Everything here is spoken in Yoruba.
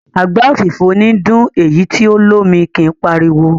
Àgbá òfìfo níí dún, èyí tí o lómi kí páriwo.